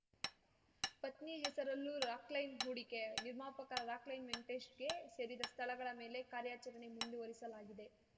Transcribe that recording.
ಪತ್ನಿ ಹೆಸರಲ್ಲೂ ರಾಕ್‌ಲೈನ್‌ ಹೂಡಿಕೆ ನಿರ್ಮಾಪಕ ರಾಕ್‌ಲೈನ್‌ ವೆಂಕಟೇಶ್‌ಗೆ ಸೇರಿದ ಸ್ಥಳಗಳ ಮೇಲೆ ಕಾರ್ಯಾಚರಣೆ ಮುಂದುವರಿಸಲಾಗಿದೆ